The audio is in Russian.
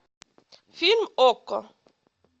фильм окко